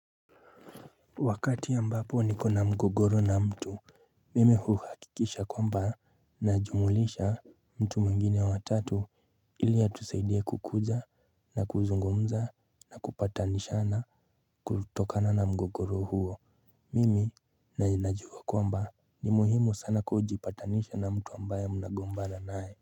Wakati ambapo niko na mgogoro na mtu Mimi huhakikisha kwamba najumulisha mtu mwingine wa tatu ili atusaidie kukuja na kuzungumza na kupatanishana kutokana na mgogoro huo Mimi najua kwamba ni muhimu sana kujipatanisha na mtu ambaye mnagombana naye.